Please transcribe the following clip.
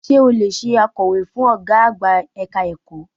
Sé o lè se akọ̀wé fún Ọ̀gá àgbà ẹ̀ka ẹ̀kọ́?